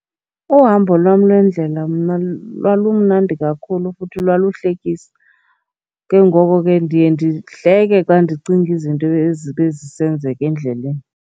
Uhambo lwam lwendlela mna lwalumnandi kakhulu futhi lwaluhlekisa. Ke ngoko ke ndiye ndihleke xa ndicinga izinto ezibe zisenzeka endleleni.